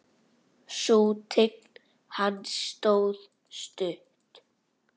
Sú tign hans stóð stutt.